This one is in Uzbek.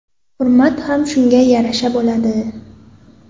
Hurmat ham shunga yarasha bo‘ladi.